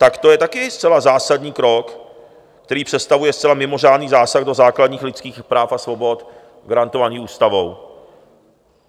Tak to je také zcela zásadní krok, který představuje zcela mimořádný zásah do základních lidských práv a svobod garantovaných ústavou.